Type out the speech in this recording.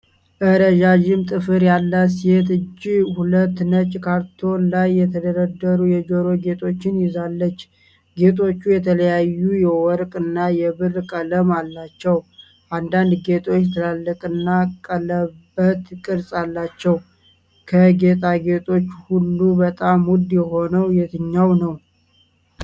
ረዣዥም ጥፍር ያላት የሴት እጅ ሁለት ነጭ ካርቶን ላይ የተደረደሩ የጆሮ ጌጦች ይዛለች። ጌጦቹ የተለያዩ የወርቅ እና የብር ቀለም አላቸው፣ አንዳንድ ጌጦች ትላልቅና ቀለበት ቅርፅ አላቸው። ከጌጣጌጦቹ ሁሉ በጣም ውድ የሆነው የትኛው ነው?